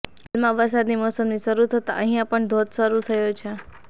હાલમાં વરસાદની મોસમની શરૂ થતા અહિયા પણ ધોધ શરૂ થયો છે